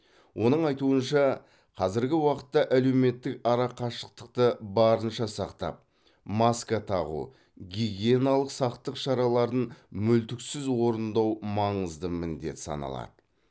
оның айтуынша қазіргі уақытта әлеуметтік арақашықтықты барынша сақтап маска тағу гигиеналық сақтық шараларын мүлтіксіз орындау маңызды міндет саналады